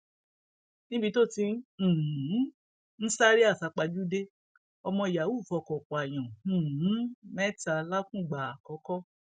níbi tó ti um ń sáré àsápajúdé ọmọ yahoo fọkọ pààyàn um mẹta làkùngbà àkọkọ